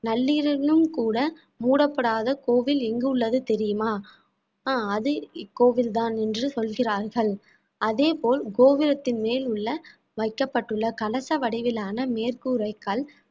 நள்ளிரவிலும் கூட மூடப்படாத கோவில் எங்கு உள்ளது தெரியுமா அஹ் அது இக்கோவில்தான் என்று சொல்கிறார்கள் அதே போல் கோபுரத்தின் மேல் உள்ள வைக்கப்பட்டுள்ள கலச வடிவிலான மேற்கூரைக்கல்